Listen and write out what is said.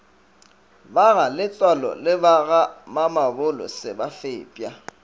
bagaletsoalo le bagamamabolo se fepša